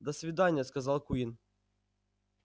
до свидания сказал куинн